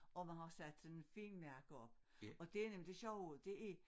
Og man har sat sådan et fint mærke op og det nemlig det sjove det er